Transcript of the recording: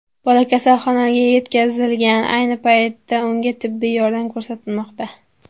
Bola kasalxonaga yetkazilgan, ayni paytda unga tibbiy yordam ko‘rsatilmoqda.